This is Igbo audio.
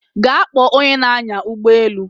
Gaa kpọọ onye na-anya ụgbọelu